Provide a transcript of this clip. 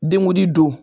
Denw di don